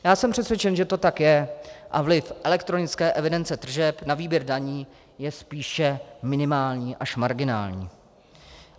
Já jsem přesvědčen, že to tak je a vliv elektronické evidence tržeb na výběr daní je spíše minimální až marginální.